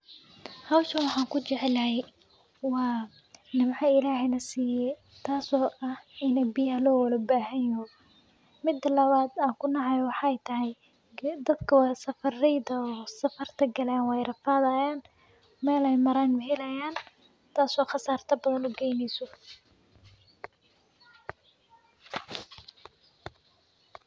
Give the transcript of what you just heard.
Hawshan waxaan ku jeclahay waa nimco Ilaahay na siiyey, taas oo ah in biyaha loo wada baahanyahay. Midda kale oo aan ku nacayo ayaa ah dadka ah safarayaasha oo safarka galay waa rafaadayaan, meel ay maraan ma helayaan, taas oo khasaare badan u geyneysa.